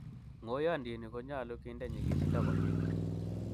ng'oyondini konyolu kinde nyikisindo komie